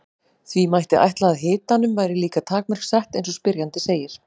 því mætti ætla að hitanum væri líka takmörk sett eins og spyrjandi segir